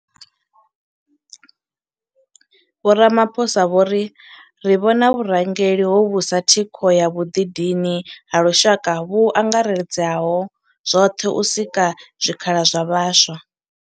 Vho Ramaphosa vho ri, Ri vhona vhurangeli hovhu sa thikho ya vhuḓidini ha lushaka vhu angaredzaho zwoṱhe u sika zwikhala zwa vhaswa.